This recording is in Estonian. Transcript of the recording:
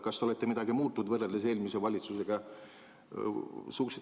Kas te olete midagi muutnud võrreldes eelmise valitsusega?